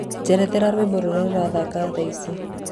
njethera rwĩmbo rũrĩa rurathaka thaaĩcĩ